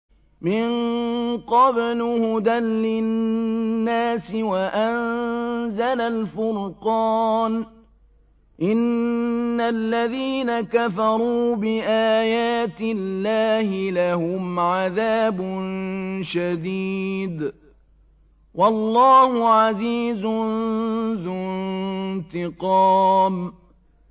مِن قَبْلُ هُدًى لِّلنَّاسِ وَأَنزَلَ الْفُرْقَانَ ۗ إِنَّ الَّذِينَ كَفَرُوا بِآيَاتِ اللَّهِ لَهُمْ عَذَابٌ شَدِيدٌ ۗ وَاللَّهُ عَزِيزٌ ذُو انتِقَامٍ